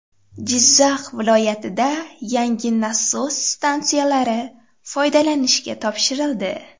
Jizzax viloyatida yangi nasos stansiyalari foydalanishga topshirildi.